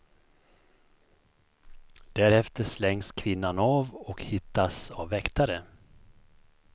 Därefter slängs kvinnan av och hittas av väktare.